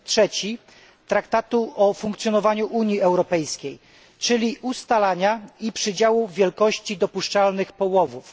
3 Traktatu o funkcjonowaniu Unii Europejskiej, czyli ustalania i przydziału wielkości dopuszczalnych połowów.